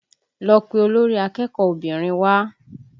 Lọ pe olórí akẹ́kọ̀ọ́ obìnrin wá!